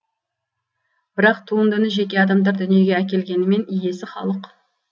бірақ туындыны жеке адамдар дүниеге әкелгенімен иесі халық